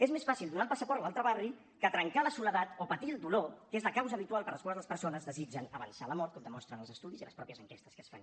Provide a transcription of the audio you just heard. és més fàcil donar el passaport a l’altre barri que trencar la soledat o patir el dolor que és la causa habitual per la qual les persones desitgen avançar la mort com demostren els estudis i les mateixes enquestes que es fan